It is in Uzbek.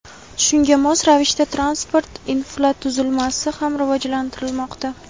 Shunga mos ravishda transport infratuzilmasi ham rivojlantirilmoqda.